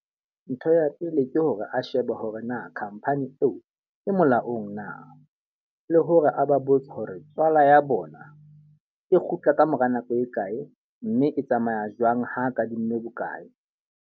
Ntho ya pele ke hore a shebe hore na khampani eo e molaong na? Le hore a ba botse hore tswala ya bona e kgutla kamora nako e kae mme e tsamaya jwang, ha kadimme bokae.